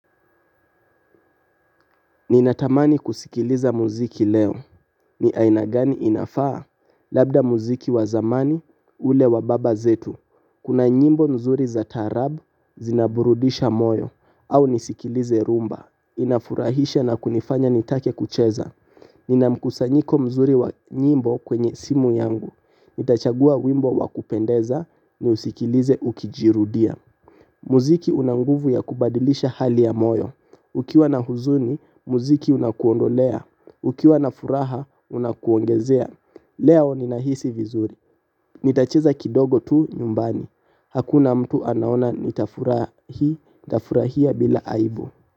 Ninatamani kusikiliza muziki leo. Ni aina gani inafaa labda muziki wa zamani ule wa baba zetu. Kuna nyimbo nzuri za tarab zinaburudisha moyo au nisikilize rumba. Inafurahisha na kunifanya nitake kucheza. Nina mkusanyiko mzuri wa nyimbo kwenye simu yangu. Nitachagua wimbo wa kupendeza niusikilize ukijirudia. Muziki unanguvu ya kubadilisha hali ya moyo. Ukiwa na huzuni, muziki unakuondolea. Ukiwa na furaha, unakuongezea. Leo nina hisi vizuri. Nitacheza kidogo tu nyumbani. Hakuna mtu anaona nitafurahia bila aibu.